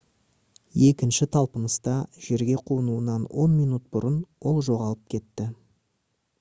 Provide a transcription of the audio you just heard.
екінші талпыныста жерге қонуынан он минут бұрын ол жоғалып кетті